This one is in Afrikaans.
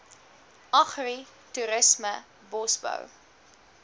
agri toerisme bosbou